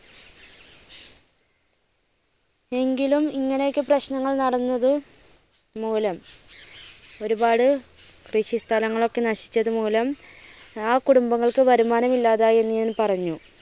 എങ്കിലും ഇങ്ങനെ ഒക്കെ പ്രശ്നങ്ങൾ നടന്നത് മൂലം ഒരുപാട് കൃഷി സ്ഥലങ്ങൾ ഒക്കെ നശിച്ചത് മൂലം ആ കുടുംബങ്ങൾക്ക് വരുമാനം ഇല്ലാതായി എന്നു ഞാൻ പറഞ്ഞു.